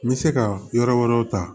N bɛ se ka yɔrɔ wɛrɛw ta